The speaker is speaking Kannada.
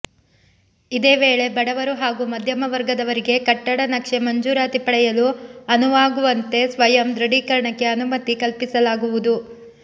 ಇದೇ ವೇಳೆ ಬಡವರು ಹಾಗೂ ಮಧ್ಯಮ ವರ್ಗದವರಿಗೆ ಕಟ್ಟಡ ನಕ್ಷೆ ಮಂಜೂರಾತಿ ಪಡೆಯಲು ಅನುವಾಗುವಂತೆ ಸ್ವಯಂ ದೃಢೀಕರಣಕ್ಕೆ ಅನುಮತಿ ಕಲ್ಪಿಸಲಾಗುವುದು